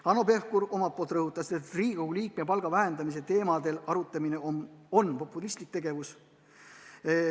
Hanno Pevkur omalt poolt rõhutas, et Riigikogu liikme palga vähendamise teemadel arutamine on populistlik tegevus.